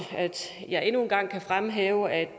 jeg endnu en gang kan fremhæve at